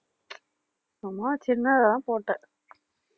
சும்மா சின்னதாதான் போட்டேன்